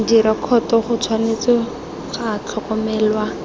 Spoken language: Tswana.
direkoto go tshwanetse ga tlhokomelwa